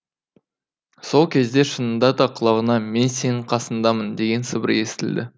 сол кезде шынында да құлағына мен сенің қасыңдамын деген сыбыр естілді